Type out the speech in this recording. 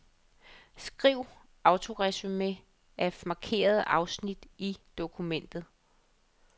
Skriv autoresumé af markerede afsnit i dokumentet.